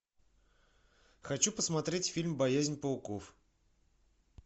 хочу посмотреть фильм боязнь пауков